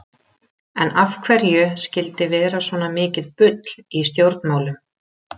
En af hverju skyldi vera svona mikið bull í stjórnmálum?